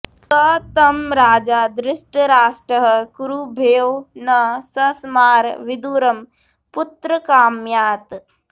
स तं राजा धृतराष्ट्रः कुरुभ्यो न सस्मार विदुरं पुत्रकाम्यात्